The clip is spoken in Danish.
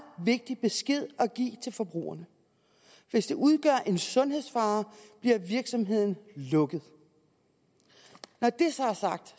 vigtig besked at give til forbrugerne hvis det udgør en sundhedsfare bliver virksomheden lukket når det så er sagt